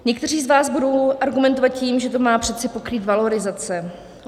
Někteří z vás budou argumentovat tím, že to má přece pokrýt valorizace.